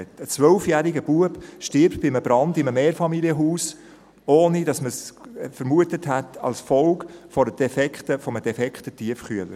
Ein zwölfjähriger Junge stirbt bei einem Brand in einem Mehrfamilienhaus, ohne dass man es vermutet hätte, als Folge eines defekten Tiefkühlers.